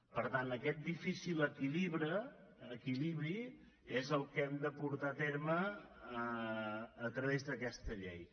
per tant aquest difícil equilibri és el que hem de portar a terme a través d’aquesta llei